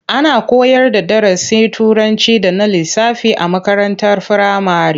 Ana koyarda darasin Turanci da na lissafi a makarantar firamare.